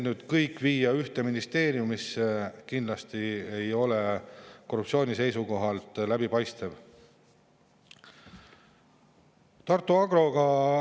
Nii et kui see viiakse nüüd kõik ühte ministeeriumisse, siis kindlasti ei ole see korruptsiooni seisukohalt läbipaistev.